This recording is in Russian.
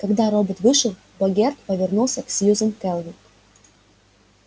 когда робот вышел богерт повернулся к сьюзен кэлвин